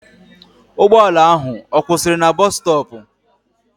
Ụgbọala ahụ ọ kwụsịrị na bọs stọọpụ?